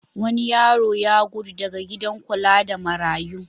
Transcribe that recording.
Wani yaro ya gudu daga gidan kula da marayu.